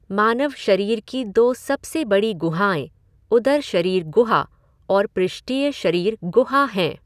मानव शरीर की दो सबसे बड़ी गुहाएँ उदर शरीर गुहा और पृष्ठीय शरीर गुहा हैं।